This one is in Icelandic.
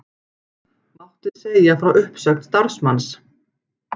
Mátti segja frá uppsögn starfsmanns